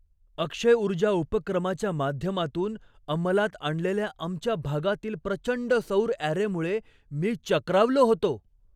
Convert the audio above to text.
अक्षय ऊर्जा उपक्रमाच्या माध्यमातून अंमलात आणलेल्या आमच्या भागातील प्रचंड सौर अॅरेमुळे मी चक्रावलो होतो.